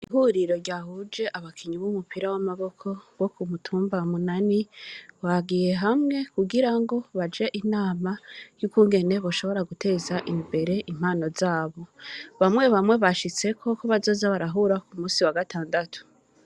Ihuriro ryahuje abakinyi b’umupira w’amaboko, bo ku mutumba Munani, bagiye hamwe kugira ngo baje inama y’ukungene boshobora guteza imbere impano zabo; bamwe bamwe bashitseko ko bazoza barahura ku munsi wa gatandatu.